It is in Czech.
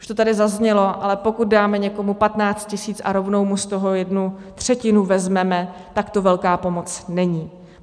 Už to tady zaznělo, ale pokud dáme někomu 15 tisíc a rovnou mu z toho jednu třetinu vezmeme, tak to velká pomoc není.